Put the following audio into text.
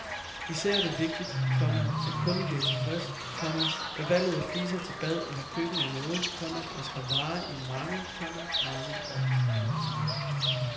Især er det vigtigt, komma at kunden bliver tilfreds, komma da valget af fliser til bad eller køkken er noget, komma der skal vare i mange, komma mange år. punktum